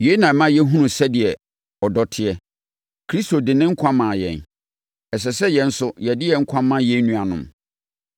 Yei na ɛma yɛhunu sɛdeɛ ɔdɔ teɛ. Kristo de ne nkwa maa yɛn. Ɛsɛ sɛ yɛn nso yɛde yɛn nkwa ma yɛn nuanom.